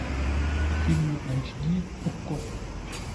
фильмы эйч ди окко